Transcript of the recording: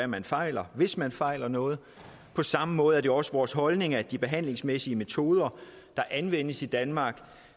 man fejler hvis man fejler noget på samme måde er det også vores holdning at de behandlingsmæssige metoder der anvendes i danmark